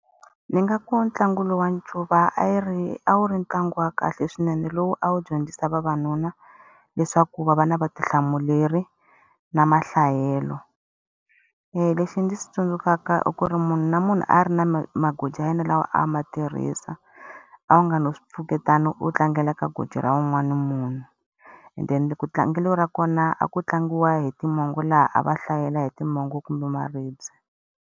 Ndzi nga ku ntlangu lowu wa ncuva a yi ri a wu ri ntlangu wa kahle swinene lowu a wu dyondzisa vavanuna, leswaku va va na vutihlamuleri, na mahlayelo. Lexi ndzi xi tsundzukaka i ku ri munhu na munhu a ri na magoji ya yena lawa a ma tirhisa, a wu nga no swi pfuketana u tlangela ka goji ra un'wana na munhu. And then tlangelo ra kona a ku tlangiwa hi timongo laha a va hlayela hi timongo kumbe maribye.